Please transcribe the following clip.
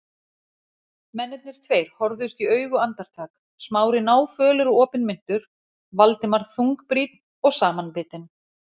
Mennirnir tveir horfðust í augu andartak, Smári náfölur og opinmynntur, Valdimar þungbrýnn og samanbitinn.